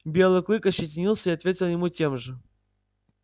белый клык ощетинился и ответил ему тем же